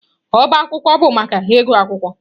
Ọbá akwụkwọ bụ maka ịgụ akwụkwọ.